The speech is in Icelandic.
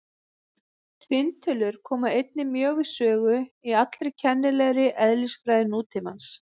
Tvinntölur koma einnig mjög við sögu í allri kennilegri eðlisfræði nútímans.